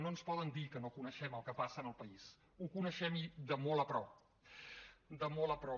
no ens poden dir que no coneixem el que passa en el país ho coneixem i de molt a prop de molt a prop